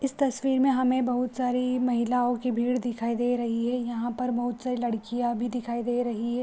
इस तस्वीर में हमे बहुत सारी महिलायों की भीड़ दिखाई दे रही है यहाँ पर बोहोत सारी लड़कियां भी दिखाई दे रही है।